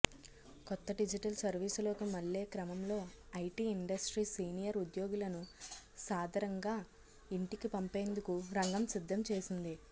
కొత్త డిజిటల్ సర్వీసులోకి మళ్ళే క్రమంలో ఐటీ ఇండస్ట్రీ సీనియర్ ఉద్యోగులను సాదరంగా ఇంటికి పంపేందుకు రంగం సిద్దం చేసింది